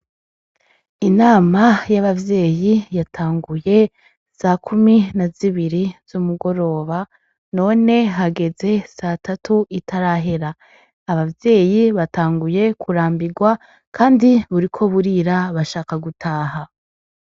Inama y' abavyeyi yatanguye sakumi na zibiri z' umugoroba none hageze satatu itarahera abavyeyi batanguye kurambigwa kandi buriko burira bashaka gutaha.